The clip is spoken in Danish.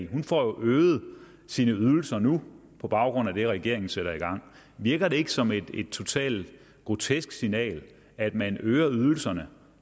hun får jo øget sine ydelser nu på baggrund af det regeringen sætter i gang virker det ikke som et totalt grotesk signal at man øger ydelserne